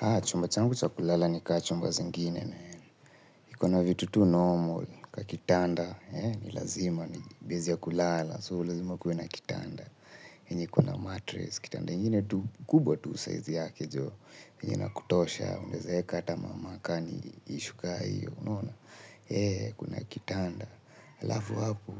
Haa, chumba changu cha kulala ni ka chumba zingine man iko na vitu tu normal, kakitanda, eh, nilazima ni bezi ya kulala, so lazima kuwe na kitanda. Yenye iko na matress kitanda ingine tu kubwa tu size yake joo yenye inakutosha unaeza eka ata makani issue ka hiyo unaona eh, kuna kitanda, halafu hapo,